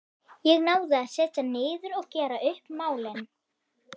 Ég náði að setjast niður og gera upp málin.